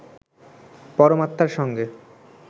পরমাত্মার সঙ্গে